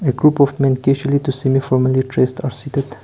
a group of men to seen formally dressed are seated.